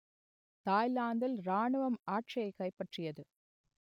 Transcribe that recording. தாய்லாந்தில் இராணுவம் ஆட்சியைக் கைப்பற்றியது